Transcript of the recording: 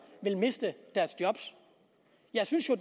vil miste deres job jeg synes jo